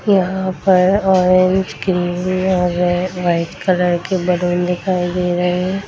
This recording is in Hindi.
यहाँ पर ऑरेंज ग्रीन और वाइ वाइट कलर के बलून दिखाई दे रहे हैं।